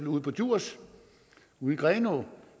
ude på djursland ude i grenaa